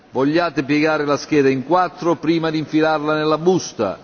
Vogliate piegare la scheda in quattro prima di infilarla nella busta.